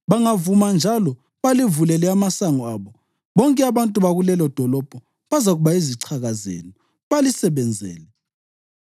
Bangavuma njalo balivulele amasango abo, bonke abantu bakulelodolobho bazakuba yizichaka zenu balisebenzele.